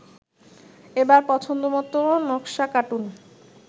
এবার পছন্দমতো নকশা কাটুন